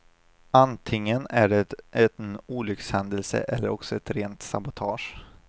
Antingen är det en olyckshändelse eller också ett rent sabotage.